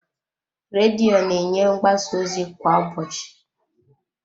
Redio na-enye mgbasa ozi kwa ụbọchị.